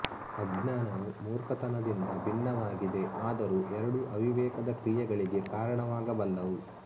ಅಜ್ಞಾನವು ಮೂರ್ಖತನದಿಂದ ಭಿನ್ನವಾಗಿದೆ ಆದರೂ ಎರಡೂ ಅವಿವೇಕದ ಕ್ರಿಯೆಗಳಿಗೆ ಕಾರಣವಾಗಬಲ್ಲವು